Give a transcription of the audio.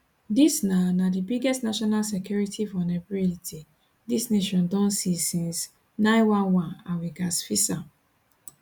dis na na di biggest national security vulnerability dis nation don see since 911 and we gatz fix am